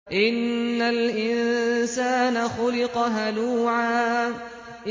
۞ إِنَّ الْإِنسَانَ خُلِقَ هَلُوعًا